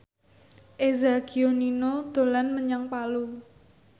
Eza Gionino dolan menyang Palu